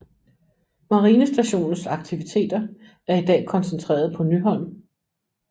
Marinestationens aktiviteter er i dag koncentreret på Nyholm